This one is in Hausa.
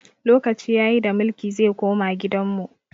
Lokaci ya yi da mulki zai koma gidan mu!